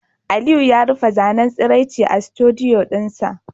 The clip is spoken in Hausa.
Aliyu ya rufe zanen tsiraicin a studdioo dinsa